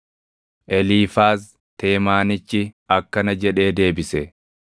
Eliifaaz Teemaanichi akkana jedhee deebise: